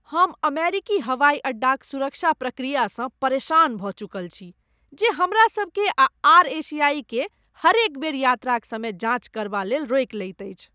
हम अमेरिकी हवाइ अड्डाक सुरक्षा प्रक्रियासँ परेशान भऽ चुकल छी, जे हमरा सभकेँ आ आर एशियाई केँ हरेक बेर यात्राक समय जाँच करबा लेल रोकि लैत अछि।